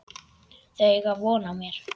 Þau eiga von á mér.